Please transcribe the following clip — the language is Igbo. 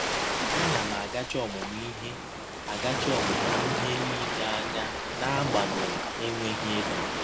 A na m agachi ọmụmụ ihe agachi ọmụmụ ihe niile anya n’agbanyeghị enweghi efe.